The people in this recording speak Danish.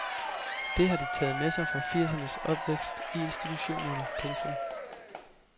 Det har de taget med sig fra firsernes opvækst i institutionerne. punktum